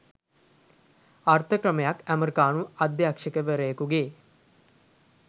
අර්ථ ක්‍රමයක් ඇමරිකානු අධ්‍යක්ෂවරයකුගේ